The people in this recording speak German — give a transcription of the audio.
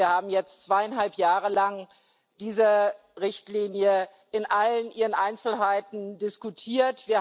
Wir haben jetzt zweieinhalb Jahre lang diese Richtlinie in allen ihren Einzelheiten diskutiert.